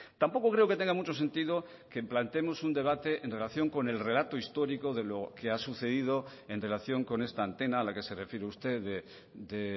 tampoco creo que tenga mucho sentido que planteemos un debate en relación con el relato histórico de lo que ha sucedido en relación con esta antena a la que se refiere usted de